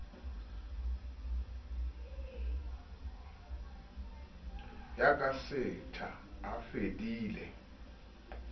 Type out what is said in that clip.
ya ka setha a fedile